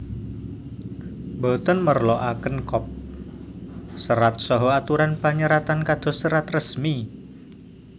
Boten merloaken kop serat saha aturan panyeratan kados serat resmi